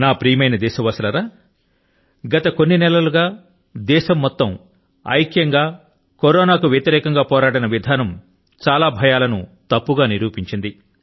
నా ప్రియమైన దేశవాసులారా గత కొన్ని నెలలు గా కరోనాతో యావత్తు దేశం ఐక్యం గా పోరాడిన విధానం చాలా భయాల ను తప్పు గా నిరూపించింది